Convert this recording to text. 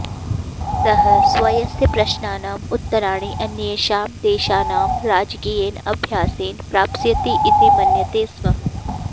सः स्वस्य प्रश्नानाम् उत्तराणि अन्येषां देशानां राजकीयेन अभ्यासेन प्राप्स्यति इति मन्यते स्म